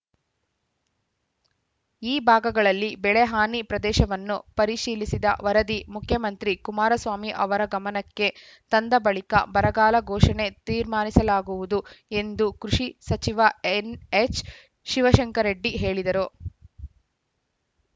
ಈ ಭಾಗಗಳಲ್ಲಿ ಬೆಳೆ ಹಾನಿ ಪ್ರದೇಶವನ್ನು ಪರಿಶೀಲಿಸಿದ ವರದಿ ಮುಖ್ಯಮಂತ್ರಿ ಕುಮಾರಸ್ವಾಮಿ ಅವರ ಗಮನಕ್ಕೆ ತಂದ ಬಳಿಕ ಬರಗಾಲ ಘೋಷಣೆಗೆ ತೀರ್ಮಾನಿಸಲಾಗುವುದು ಎಂದು ಕೃಷಿ ಸಚಿವ ಎನ್‌ಎಚ್‌ ಶಿವಶಂಕರರೆಡ್ಡಿ ಹೇಳಿದರು